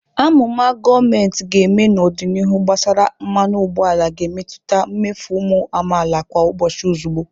Amụma gọọmentị ga-eme n'ọdịnihu gbasara mmanụ ụgbọala ga-emetụta mmefu ụmụ amaala kwa ụbọchị ozugbo.